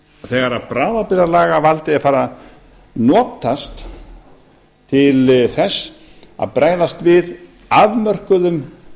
þegar bráðabirgðalagavaldið er farið að notast til þess að bregðast við afmörkuðum